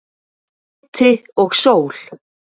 Hiti og sól.